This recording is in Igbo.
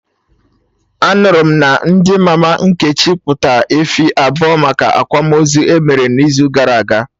Anụrụ m na di mama Nkechi kpụta efi abụọ maka akwamozu emere n'izu gara aga